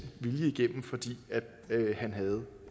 vilje igennem fordi han havde